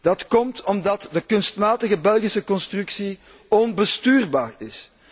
Dat komt omdat de kunstmatige Belgische constructie onbestuurbaar is.